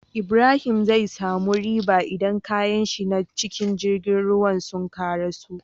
Ibrahim zai samu riba idan kayanshi na cikin girgin ruwa suka karaso